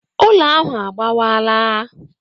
Ụlọ ahụ agbawaala.